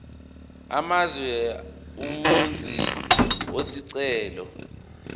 amazwe umenzi wesicelo